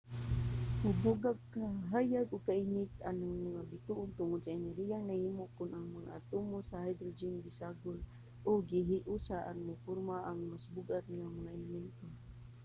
mubuga og kahayag ug kainit ang mga bituon tungod sa enerhiyang nahimo kon ang mga atomo sa hydrogen gisagol o gihiusa aron muporma og mas bug-at nga mga elemento